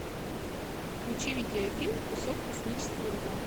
включи видеофильм кусок космического льда